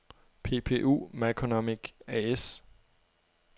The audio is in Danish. PPU Maconomy A/S